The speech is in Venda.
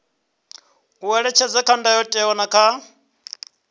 ṅetshedzwa kha ndayotewa na kha